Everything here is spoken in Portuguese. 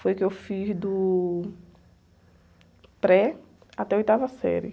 Foi o que eu fiz do pré até oitava série.